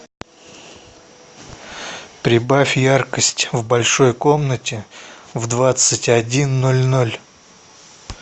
прибавь яркость в большой комнате в двадцать один ноль ноль